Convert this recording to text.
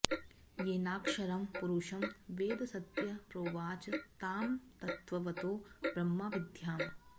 येनाक्षरं पुरुषं वेद सत्य प्रोवाच तां तत्त्वतो ब्रह्मविद्याम्